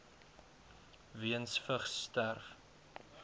weens vigs sterf